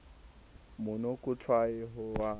monokotshwai ha o butswe ka